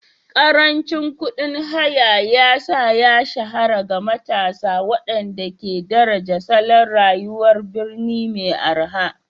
Karancin kuɗin haya ya sa ya shahara ga matasa waɗanda ke daraja salon rayuwar birni mai araha